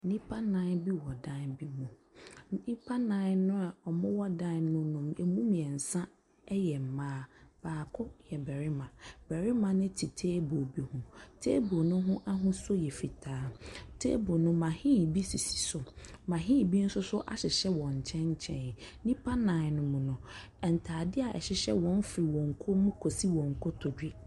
Nnipa nnan wɔ dan bi mu. Nnipa no a wɔwɔ dan no mu no, ɛmu mmeɛnsa yɛ mmaa. Baako yɛ barima. Barima no te table bi ho. Table no ho ahosuo yɛ fitaa. Table no mahin bi sisi so. Mahin bi nso so ahyehyɛ wɔ nkyɛnkyɛn. Nnipa nnan no mu no, ntadeɛ a ɛhyehyɛ wɔn firi wɔn kɔn mu kɔsi wɔn kotodwe.